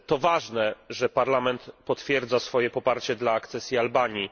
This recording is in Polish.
To ważne, że Parlament potwierdza swoje poparcie dla akcesji Albanii.